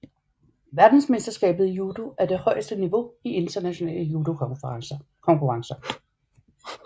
Verdensmesterskabet i judo er det højeste niveau i internationale judokonkurrencer